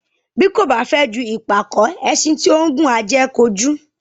Bí kò ba fẹ ju ìpàkó, ẹṣin tí ó ngùn á jẹ kojù